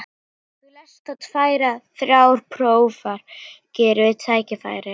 Þú lest þá tvær eða þrjár prófarkir við tækifæri.